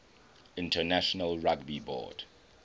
international rugby board